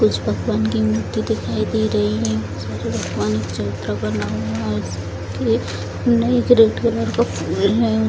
कुछ भगवान की मूर्ति दिखाई दे रहीं हैं उसमें भगवान का चित्र बना हुआ है और उसके --